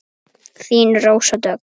Þín, Rósa Dögg.